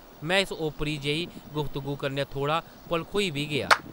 में इस ओपरी जेही गुफ्तगू कन्नै थोह्ड़ा भलखोई बी गेआ ।